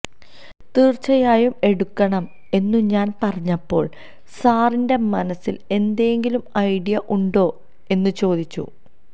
തീർച്ചയായും എടുക്കണം എന്നു ഞാൻ പറഞ്ഞപ്പോൾ സാറിന്റെ മനസ്സിൽ എന്തെങ്കിലും ഐഡിയ ഉണ്ടോ എന്നു ചോദിച്ചു